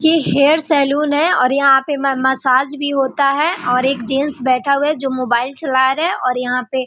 ये hair salon है और यहाँ पे म मसाज भी होता है और एक जेंट्स बैठा हुआ है जो मोबाइल चला रहा है और यहाँ पे --